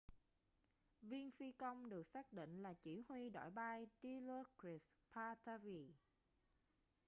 viên phi công được xác định là chỉ huy đội bay dilokrit pattavee